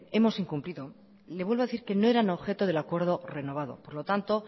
hemos incumplido le vuelvo a decir que no eran objeto del acuerdo renovado por lo tanto